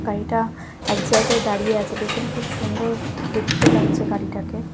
গাড়িটা এক জায়গায় দাঁড়িয়ে আছে পেছন খুব সুন্দর দেখতে লাগছে গাড়িটাকে।